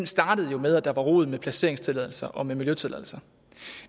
startede med at der var rod med placeringstilladelser og miljøtilladelser